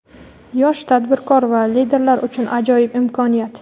Yosh tadbirkor va liderlar uchun ajoyib imkoniyat!.